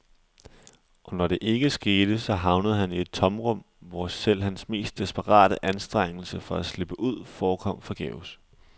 Og når det ikke skete, så havnede han i et tomrum, hvor selv hans mest desperate anstrengelser for at slippe ud forekom forgæves.